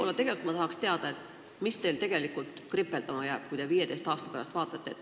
Ja tegelikult tahaksin teada ka, mis teil tegelikult võiks olla 15 aasta pärast kripeldama jäänud.